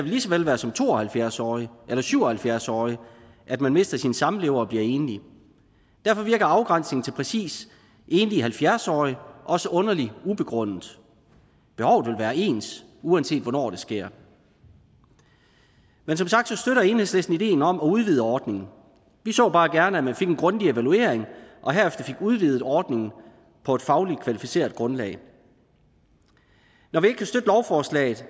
lige så vel være som to og halvfjerds årig eller syv og halvfjerds årig at man mister sin samlever og bliver enlig derfor virker afgrænsningen til præcis enlige halvfjerds årige også underlig ubegrundet behovet vil være ens uanset hvornår det sker men som sagt støtter enhedslisten ideen om at udvide ordningen vi så bare gerne at man fik en grundig evaluering og herefter fik udvidet ordningen på et fagligt kvalificeret grundlag når vi ikke kan støtte lovforslaget